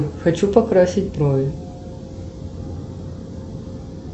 хочу покрасить брови